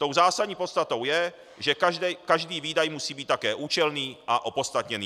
Tou zásadní podstatou je, že každý výdaj musí být také účelný a opodstatněný.